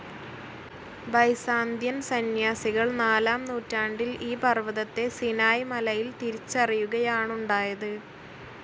Byzantine സന്യാസികൾ നാലാം നൂറ്റാണ്ടിൽ ഈ പർവ്വതത്തെ സിനായ് മലയിൽ തിരിച്ചറിയുകയാണുണ്ടായത്.